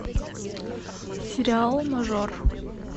сериал мажор